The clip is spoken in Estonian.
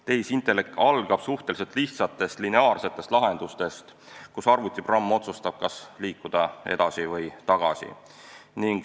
Tehisintellekt algab suhteliselt lihtsatest lineaarsetest lahendusest, kus arvutiprogramm otsustab, kas liikuda edasi või tagasi.